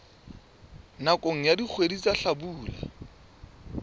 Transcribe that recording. nakong ya dikgwedi tsa hlabula